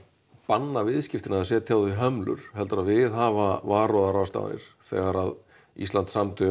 banna viðskiptin eða setja á þau hömlur heldur að viðhafa varúðarráðstafanir þegar að Ísland samþykkti